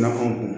Laban ko